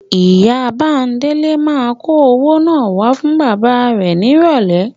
Ìyá Bándélé máa kó owó náà wá fún bàbá rẹ nírọ̀lẹ́.